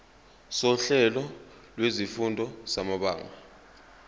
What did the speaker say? sohlelo lwezifundo samabanga